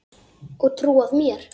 Og trúað mér!